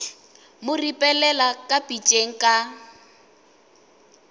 mo ripelela ka pitšeng ka